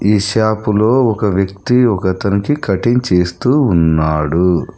ఈ షాపులో ఒక వ్యక్తి ఒకతనికి కటింగ్ చేస్తూ ఉన్నాడు.